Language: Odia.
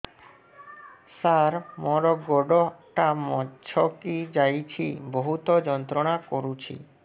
ସାର ମୋର ଗୋଡ ଟା ମଛକି ଯାଇଛି ବହୁତ ଯନ୍ତ୍ରଣା କରୁଛି